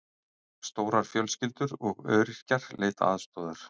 Stórar fjölskyldur og öryrkjar leita aðstoðar